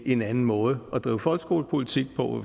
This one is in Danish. en anden måde at drive folkeskolepolitik på